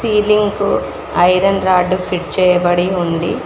Ceiling కు iron rod fit చేయబడి ఉంది.